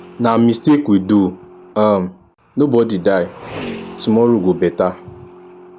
na mistake we do um nobody die tomorrow go beta